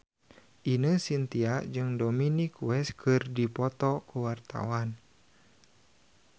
Ine Shintya jeung Dominic West keur dipoto ku wartawan